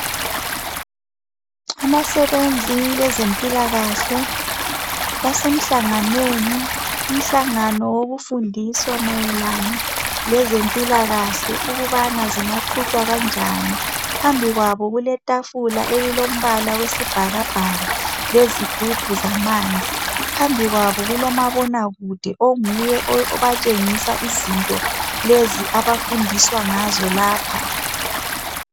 Abasebenzi bezempilakahle basemhlanganweni. Umhlangano wokufundiswa mayelana lezempilakahle ukubana zingaqhutshwa kanjani. Phambi kwabo kuletafula elilombala wesibhakabhaka lezigubhu zamanzi. Phambikwabo kulomabona kude onguye obatshengisa izinto okuyizo abafundiswa ngazo lapha.